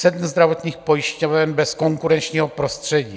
Sedm zdravotních pojišťoven bez konkurenčního prostředí.